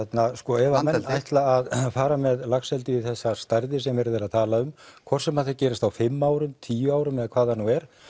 ef menn ætla að fara með laxeldi í þessar stærðir sem verið er að tala um hvort sem það gerist á fimm árum tíu árum eða hvað það nú er